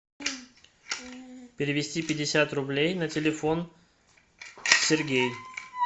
перевести пятьдесят рублей на телефон сергей